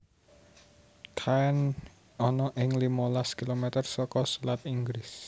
Caen ana ing limolas kilometer saka selat Inggris